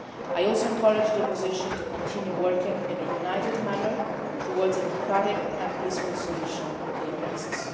I also encouraged the opposition to continue working in a united manner towards a democratic and peaceful solution to the crisis.